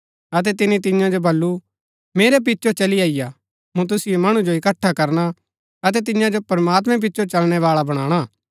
अतै तिनी तियां जो बल्लू मेरै पिचो चली अईआ मूँ तुसिओ मणु जो इक्‍कठा करना अतै तियां जो प्रमात्मैं पिचो चलणै बाळा बणाना